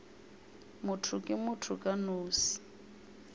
motho ke motho ka nosi